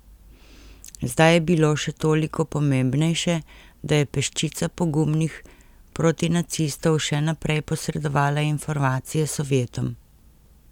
Zdaj je bilo še toliko pomembnejše, da je peščica pogumnih protinacistov še naprej posredovala informacije Sovjetom.